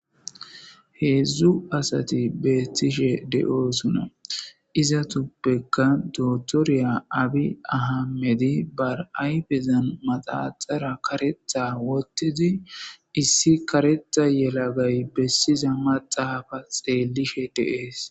Hezdzdu asati betishshe de"osona izetappe issoy dottorya abi amede gididi manexera wothidi kareththa yelagay besishshe dizayissa beyishshe deettes